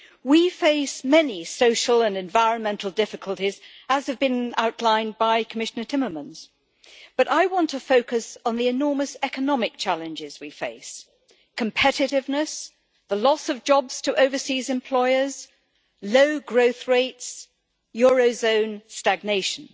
We face many social and environmental difficulties, as has been outlined by Commissioner Timmermans, but I want to focus on the enormous economic challenges we face competitiveness, the loss of jobs to overseas employers, low growth rates, eurozone stagnation.